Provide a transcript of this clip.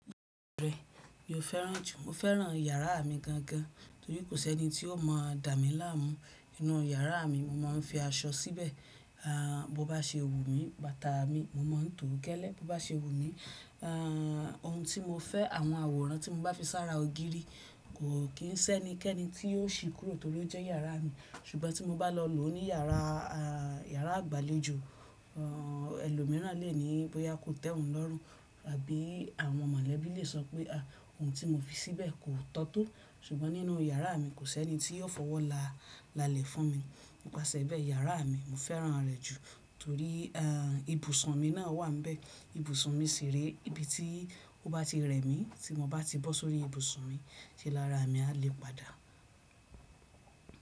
Bẹ, mo fẹ́ràn jù, mo fẹ́ràn yàrá mi gan gan, torí kò sẹ́ni tí ó mọ̀ dá mi láàmú. Inú yàrá mi, mo má ń fi aṣọ síbẹ̀, aà bo bá se wu mí, bàtà mi mo má ń tò kẹ́lẹ̀, bo bá se wu mí, aà ohun tí mo fẹ́, àwọn àwòrán tí mo bá fi sára ògiri kò kí ń sẹ́ni kẹ́ni tí yóò ṣì kúrò torí ó jẹ́ yàrá mi. Ṣùgbọ́n tí mo bá lọ lò ó ní yàrá aà yàrá àgbàlejò, aà ẹlòmíràn lè ní bóyá kó tẹ́ òun lọ́rùn àbí àwọn mọ̀lẹ́bí lè sọ pé à ohun tí mo fi síbẹ̀ kò tọ́ to. Ṣùgbọ́n nínú yàrá mi kò sẹ́ni tí yóò fọwọ́ là lalẹ̀ fún mi. Ni ipasẹ bẹ́ẹ̀ yàrá mi, mo fẹ́ràn rẹ̀ jù torí aà ibùsùn mi náà wà níbẹ̀. Ibùsùn mi sì rẹ́ ibi tí ó bá ti rẹ̀ mí tí mo bá ti bọ́ sórí ibùsùn mi, ṣe lára mi a lè padà.